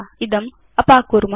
इदम् अपाकुर्म